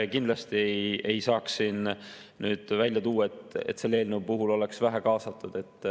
Kindlasti ei saa siin nüüd välja tuua, et selle eelnõu puhul oleks vähe kaasatud.